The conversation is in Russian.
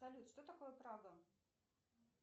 салют что такое прага